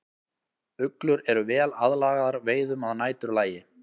Uglur eru vel aðlagaðar veiðum að næturlagi.